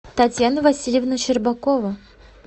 татьяна васильевна щербакова